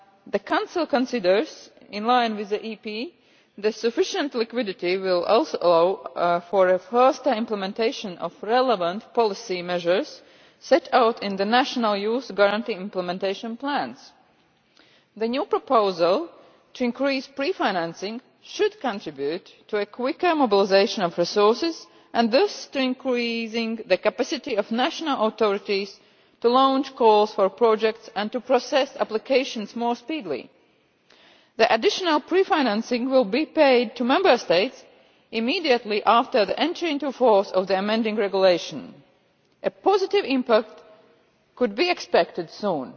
The Council considers, in line with the European Parliament, that sufficient liquidity will also allow for a faster implementation of the relevant policy measures set out in the national Youth Guarantee implementation plans. The new proposal to increase pre financing should contribute to a quicker mobilisation of resources and thus to increasing the capacity of national authorities to launch calls for projects and to process applications more speedily. The additional pre financing will be paid to Member States immediately after the entry into force of the amending regulation. A positive impact could be expected soon.